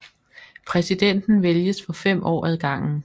Præsidenten vælges for 5 år ad gangen